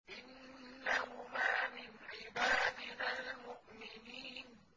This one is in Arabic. إِنَّهُمَا مِنْ عِبَادِنَا الْمُؤْمِنِينَ